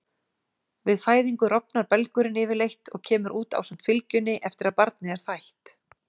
Við fæðingu rofnar belgurinn yfirleitt og kemur út ásamt fylgjunni eftir að barnið er fætt.